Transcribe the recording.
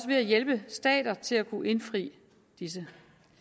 ved at hjælpe stater til at kunne indfri disse